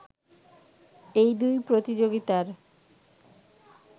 এই দুই প্রতিযোগিতার